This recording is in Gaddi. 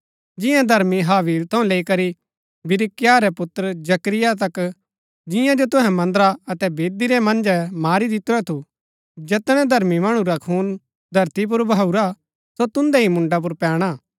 जिआं धर्मी हाबील थऊँ लेई करी बिरिक्याह रै पुत्र जकरिया तक जियां जो तुहै मन्दरा अतै वेदी रै मन्जै मारी दितुरा थु जैतनै धर्मी मणु रा खून धरती पुर वहाऊरा सो तुन्दै ही मुन्डा पुर पैणा हा